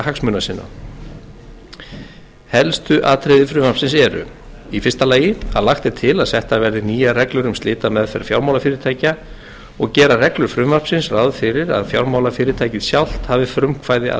hagsmuna sinna helstu atriði frumvarpsins eru í fyrsta lagi að lagt er til að settar verði nýjar reglur um slitameðferð fjármálafyrirtækja og gera reglur frumvarpsins ráð fyrir að fjármálafyrirtækið sjálft hafi frumkvæði að